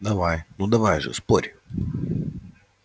давай ну давай же спорь